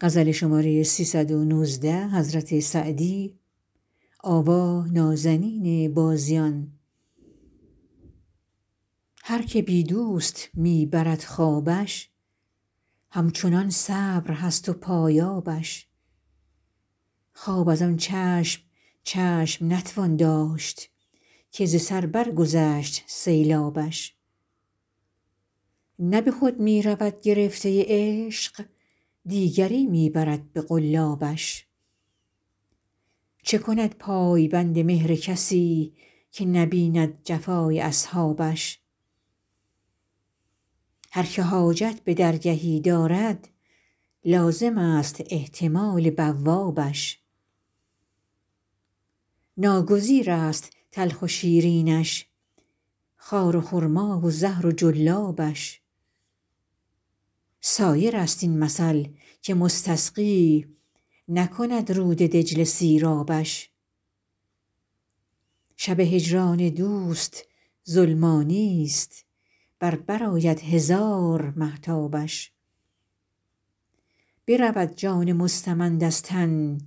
هر که بی دوست می برد خوابش همچنان صبر هست و پایابش خواب از آن چشم چشم نتوان داشت که ز سر برگذشت سیلابش نه به خود می رود گرفته عشق دیگری می برد به قلابش چه کند پای بند مهر کسی که نبیند جفای اصحابش هر که حاجت به درگهی دارد لازمست احتمال بوابش ناگزیرست تلخ و شیرینش خار و خرما و زهر و جلابش سایرست این مثل که مستسقی نکند رود دجله سیرابش شب هجران دوست ظلمانیست ور برآید هزار مهتابش برود جان مستمند از تن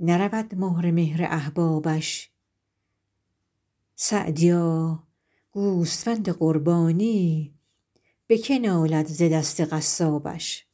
نرود مهر مهر احبابش سعدیا گوسفند قربانی به که نالد ز دست قصابش